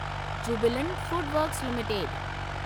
Jubilant Food Works limited